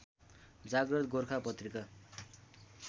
जाग्रत गोर्खा पत्रिका